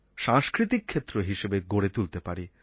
সাংস্কৃতিক ক্ষেত্র হিসেবেও গড়ে তুলতে পারি